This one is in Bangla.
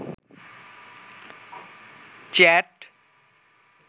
চেট